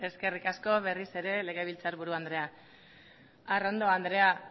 eskerrik asko berriz ere legebiltzarburu andrea arrondo andrea